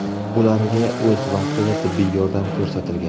Ularga o‘z vaqtida tibbiy yordam ko‘rsatilgan.